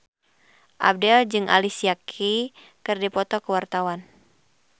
Abdel jeung Alicia Keys keur dipoto ku wartawan